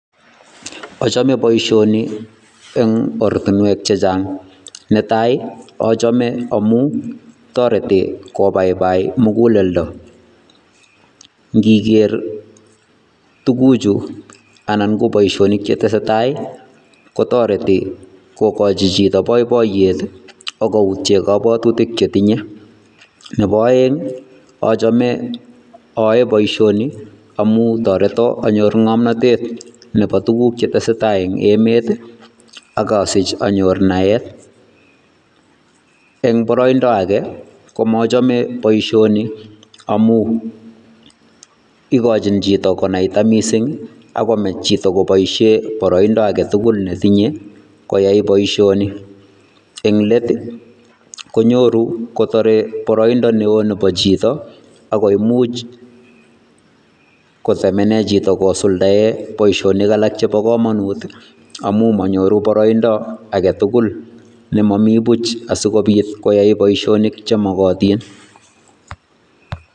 Achame boisioni eng ortinwek che chang, netai ii achame amu toreti kobaibai muguleldo, ngiker tukuchu anan ko boisionik che tesetai ii, kotoreti kokochi chito boiboiyet ii ak koutie kabwatutik chetinye, nebo aeng achame ae boisioni amu toreto anyor ngamnotet nebo tukuk che tesetai eng emet ii ak asich anyor naet, eng boroindo age ko machame boisioni amu, ikochin chito konaita mising ak komech chito koboisie boroindo age tugul ne tinye koyai boisioni, eng let ii konyoru kotore boroindo ne oo nebo chito ako imuch kotemene chito kosuldae boisionik alak chebo kamanut ii, amu manyoru boroindo age tugul ne momi buch asikobit koyai boisionik che mokotin.